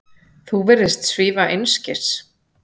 Þú virðist svífast einskis.